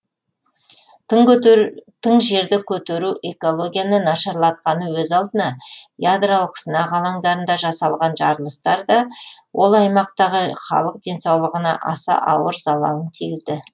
тың жерді көтеру экологияны нашарлатқаны өз алдына ядролық сынақ алаңдарында жасалған жарылыстар да ол аймақтағы халық денсаулығына аса ауыр залалын тигізді